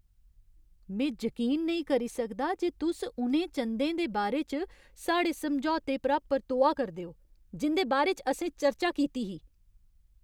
में जकीन नेईं करी सकदा जे तुस उ'नें चंदें दे बारे च साढ़े समझौते परा परतोआ करदे ओ जिं'दे बारे च असें चर्चा कीती ही।